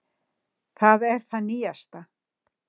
Það er það nýjasta.